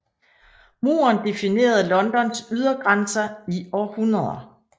Muren definerede Londons ydergrænser i århundreder